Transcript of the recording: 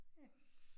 Ja